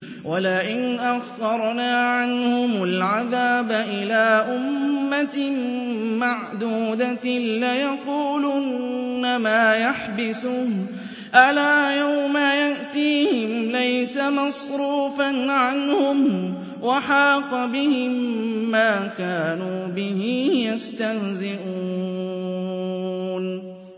وَلَئِنْ أَخَّرْنَا عَنْهُمُ الْعَذَابَ إِلَىٰ أُمَّةٍ مَّعْدُودَةٍ لَّيَقُولُنَّ مَا يَحْبِسُهُ ۗ أَلَا يَوْمَ يَأْتِيهِمْ لَيْسَ مَصْرُوفًا عَنْهُمْ وَحَاقَ بِهِم مَّا كَانُوا بِهِ يَسْتَهْزِئُونَ